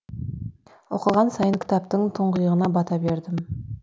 оқыған сайын кітаптың тұңғиығына бата бердім